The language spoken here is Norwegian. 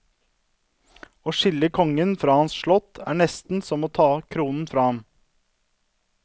Å skille kongen fra hans slott, er nesten som å ta kronen fra ham.